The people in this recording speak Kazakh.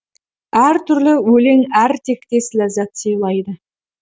әр түрлі өлең әр тектес ләззат сыйлайды